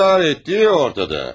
İntihar olduğu ortada.